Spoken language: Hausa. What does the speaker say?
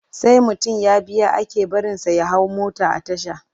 Sai mutum ya biya ake barinsa ya hau mota a tasha.